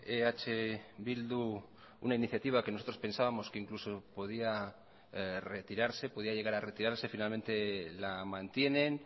eh bildu una iniciativa que nosotros pensábamos que incluso podía retirarse podía llegar a retirarse finalmente la mantienen